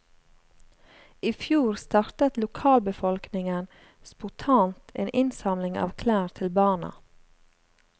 I fjor startet lokalbefolkningen spontant en innsamling av klær til barna.